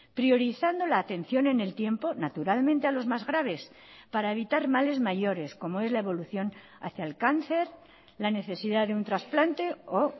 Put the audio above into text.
priorizando la atención en el tiempo naturalmente a los más graves para evitar males mayores como es la evolución hacia el cáncer la necesidad de un trasplante o